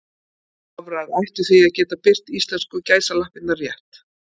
Vafrar ættu því að geta birt íslensku gæsalappirnar rétt.